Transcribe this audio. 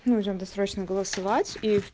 нужно досрочно голосовать и